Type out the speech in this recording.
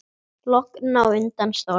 Logn á undan stormi.